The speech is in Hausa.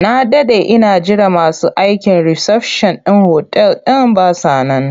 Na daɗe ina jiran masu aikin risafshan ɗin otal ɗin ba sa nan.